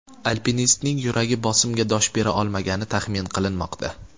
Alpinistning yuragi bosimga dosh bera olmagani taxmin qilinmoqda.